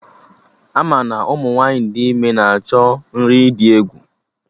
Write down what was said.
Ama na Ụmụ nwaanyị dị ime na-achọ nri dị egwu